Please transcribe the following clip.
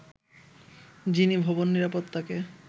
যিনি ভবন নিরাপত্তাকে